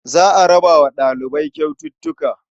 Za a raba wa ɗalibai kyaututtuka.